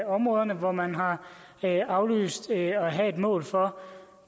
områder hvor man har aflyst at have et mål for